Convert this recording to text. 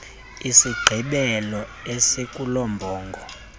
isigqebelo esikulo mbongo